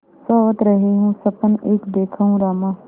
सोवत रहेउँ सपन एक देखेउँ रामा